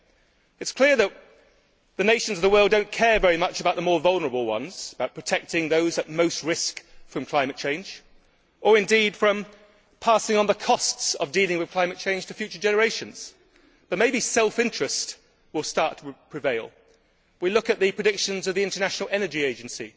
It is clear that the nations of the world do not care very much about the more vulnerable ones, about protecting those at most risk from climate change, or indeed about passing on the costs of dealing with climate change to future generations, but maybe self interest will start to prevail. We look at the predictions of the International Energy Agency,